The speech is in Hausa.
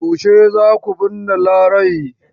Yaushe za ku binne Larai?